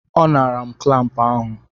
Ọ naara m klampụ ahụ.